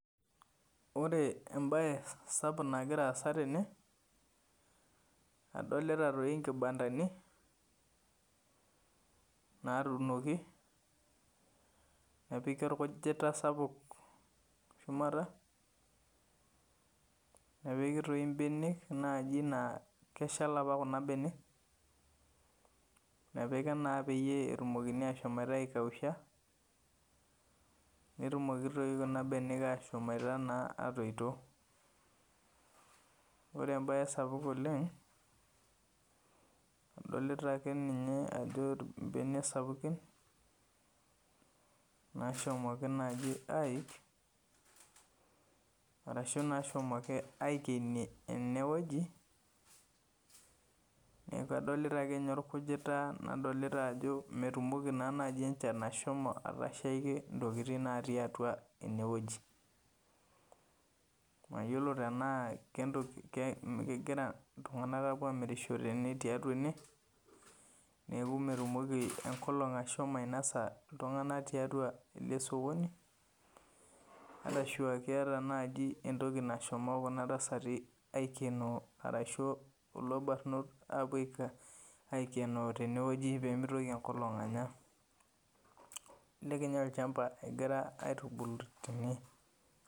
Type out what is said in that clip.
Ore embaye sapuk nagiraasa tene adolita toi nkibandani naatunoki, nepiki olkujita sapuk shumata, nepiki toi mbenek naji naa keshal apa kuna bene, nepiki naa peyie etumokini ashomoita aikausha, netumoki toi kuna benek ashomoita naa atoito. Ore embaye sapuk oleng' adolita akeninye ajo imbene sapukin, naashomoki naji aik arashu nashomoki aikenie enewueji. Neaku adolita akeninye olkujitaa nadolita ajo metumoki naa naji enchan ashomo atashaiki intokitin natii atua enewueji. Mayiolo tenaa kentoki kegira iltung'anak apuo amirishore ene tiatua ene, neaku metumoki enkolong' ashomo ainosa iltung'anak tiatua ele sokoni arashuaa keata naji entoki nashomo kuna tasati aikenoo arashu kulo barnot apuo [aika] aikenoo tenewueji peemeitoki enkolong' anya. Elelek ninye olchamba egira aitubulu tene.